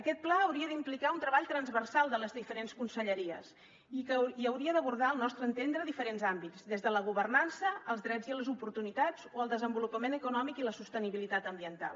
aquest pla hauria d’implicar un treball transversal de les diferents conselleries i hauria d’abordar al nostre entendre diferents àmbits des de la governança als drets i les oportunitats o el desenvolupament econòmic i la sostenibilitat ambiental